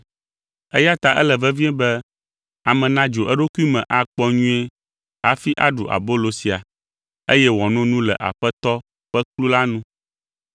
Eya ta ele vevie be ame nadzro eɖokui me akpɔ nyuie hafi aɖu abolo sia, eye wòano nu le Aƒetɔ ƒe kplu la nu.